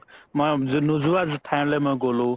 নোজোৱা ঠাইলৈ মই গ'লো